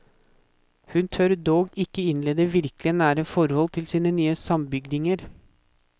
Hun tør dog ikke innlede virkelig nære forhold til sine nye sambygdinger.